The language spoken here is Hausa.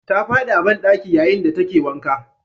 Ta fadi a bandaki yayin da take wanka.